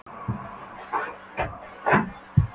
Ég fór að hátta klukkan átta, beint ofan í göngutúrana.